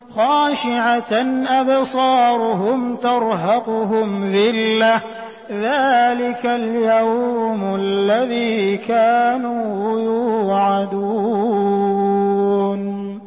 خَاشِعَةً أَبْصَارُهُمْ تَرْهَقُهُمْ ذِلَّةٌ ۚ ذَٰلِكَ الْيَوْمُ الَّذِي كَانُوا يُوعَدُونَ